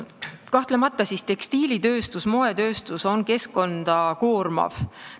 Kahtlemata on tekstiilitööstus ja moetööstus keskkonda koormavad.